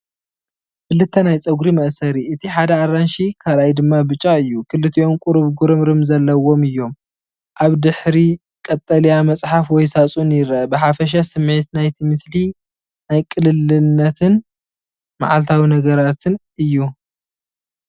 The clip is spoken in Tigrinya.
ክልተ ናይ ጸጉሪ መእሰሪ፣ እቲ ሓደ ኣራንሺ እቲ ካልኣይ ድማ ብጫ እዩ። ክልቲኦም ቁሩብ ምጉርምራም ዘለዎም እዮም። ኣብ ድሕሪት ቀጠልያ መጽሓፍ ወይ ሳጹን ይርአ። ብሓፈሻ ስሚዒት ናይቲ ምስሊ ናይ ቅልልነትን መዓልታዊ ነገራትን እዩ።